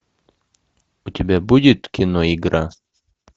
у тебя будет кино игра